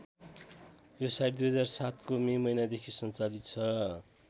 यो साइट २००७ को मे महिनादेखि सञ्चालित छ।